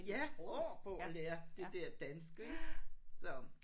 Ja år på at lære det der danske så